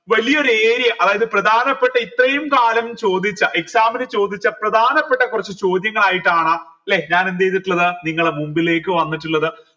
വലിയൊരു area അതായത് പ്രധാനപ്പെട്ട ഇത്രയും കാലം ചോദിച്ച exam ന് ചോദിച്ച പ്രധാനപ്പെട്ട കുറച്ച് ചോദ്യങ്ങൾ ആയിട്ടാണ് ലെ ഞാൻ എന്ത് ചെയ്തിട്ടിള്ളത് നിങ്ങളെ മുൻപിലേക്ക്‌ വന്നിട്ടിള്ളത്